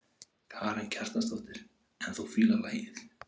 Karen Kjartansdóttir: En þú fílar lagið?